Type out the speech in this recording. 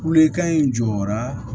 Kulekan in jɔra